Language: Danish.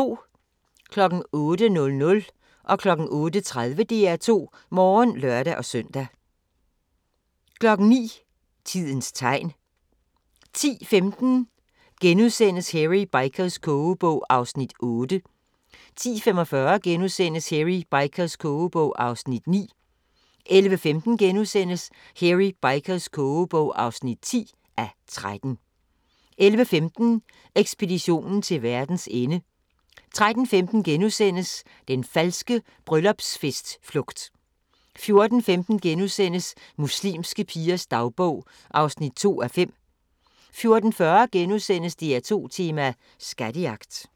08:00: DR2 Morgen (lør-søn) 08:30: DR2 Morgen (lør-søn) 09:00: Tidens tegn 10:15: Hairy Bikers kogebog (8:13)* 10:45: Hairy Bikers kogebog (9:13)* 11:15: Hairy Bikers kogebog (10:13)* 11:45: Ekspeditionen til verdens ende 13:15: Den falske bryllupsfest-flugt * 14:15: Muslimske pigers dagbog (2:5)* 14:40: DR2 tema: Skattejagt *